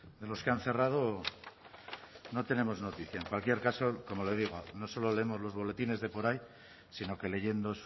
de los que han cerrado no tenemos noticia en cualquier caso como le digo no solo leemos los boletines de por ahí sino que leyendo